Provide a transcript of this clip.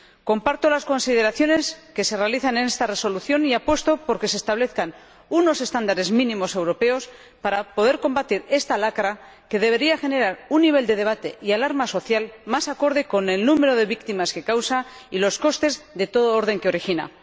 Comparto las consideraciones que se realizan en esta Resolución y apuesto por que se establezcan unos estándares mínimos europeos para poder combatir esta lacra, que debería generar un nivel de debate y alarma social más acorde con el número de víctimas que causa y los costes de todo orden que origina.